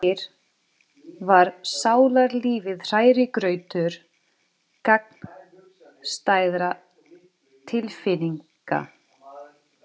Sem fyrr var sálarlífið hrærigrautur gagnstæðra tilfinninga.